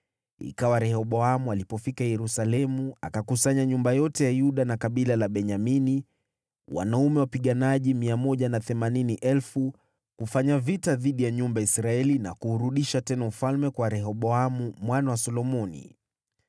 Ikawa Rehoboamu alipofika Yerusalemu, akakusanya nyumba yote ya Yuda na kabila la Benyamini, wanaume wapiganaji 180,000, kufanya vita dhidi ya nyumba ya Israeli na kuurudisha tena ufalme kwa Rehoboamu mwana wa Solomoni.